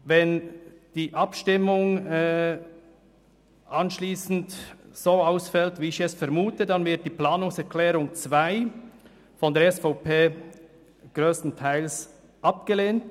Wenn die Abstimmung so herauskommt, wie ich es vermute, dann wird die Planungserklärung 2 von der SVP grösstenteils abgelehnt.